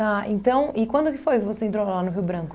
Tá, então, e quando que foi que você entrou lá no Rio Branco?